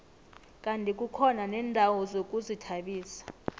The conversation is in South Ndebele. kandi kukhona neendawo zokuzithabisa